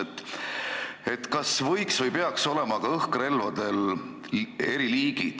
Kas ka õhkrelvadel võiks või peaks olema eriliigid?